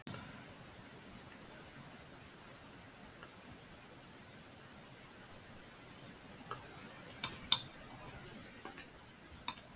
ætli ég mér að vera það.